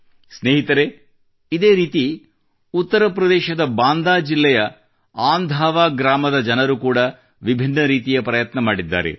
ಸ್ನೇಹಿತರೇ ಇದೇ ರೀತಿ ಉತ್ತರ ಪ್ರದೇಶದ ಬಾಂದಾ ಜಿಲ್ಲೆಯ ಅಂಧಾವಾ ಗ್ರಾಮದ ಜನರು ಕೂಡಾ ವಿಭಿನ್ನ ರೀತಿಯ ಪ್ರಯತ್ನ ಮಾಡಿದ್ದಾರೆ